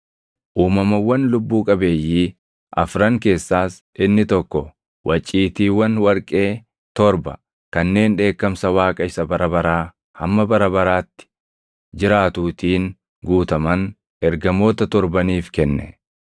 Uumamawwan lubbuu qabeeyyii afran keessaas inni tokko waciitiiwwan warqee torba kanneen dheekkamsa Waaqa isa bara baraa hamma bara baraatti jiraatuutiin guutaman ergamoota torbaniif kenne.